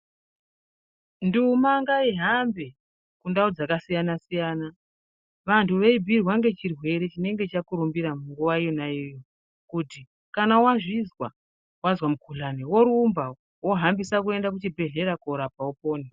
Nduma ngaihambe mundau dzakasiyana siyana, wandu weibhiirwa ngechirwere chinenge chakurumbira munguwa yona iyoyo kuti kana wazvizwa, wazwa mugudhlani worumba, wohambisa kuenda kuzvibhedhlera kuti upone.